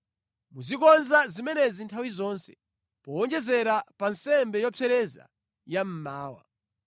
Muzikonza zimenezi nthawi zonse, powonjezera pa nsembe yopsereza ya mmawa.